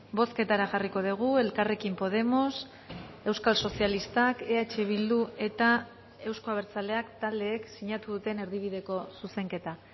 bozketara jarriko dugu elkarrekin podemos euskal sozialistak eh bildu eta euzko abertzaleak taldeek sinatu duten erdibideko zuzenketa